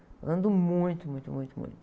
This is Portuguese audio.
Eu ando muito, muito, muito, muito.